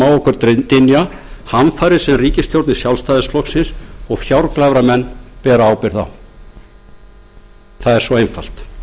okkur dynja hamfarir sem ríkisstjórn sjálfstæðisflokksins og fjárglæframenn bera ábyrgð á það er svo einfalt